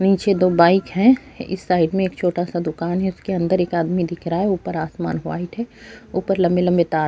نیچے دو بائیک ہے۔ اس سائیڈ مے ایک چھوٹا سا دکان ہے۔ اسکے اندر ایک آدمی دیکھ رہا ہے. اپر آسمان وائٹ ہے۔ اپر لمبے لمبے تار ہے۔